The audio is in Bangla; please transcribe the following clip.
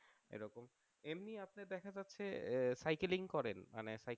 এমনি আপনি দেখা যাচ্ছে সাইকেলিং করেন মানে